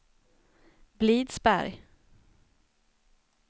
Blidsberg